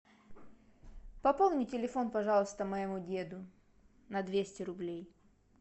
пополни телефон пожалуйста моему деду на двести рублей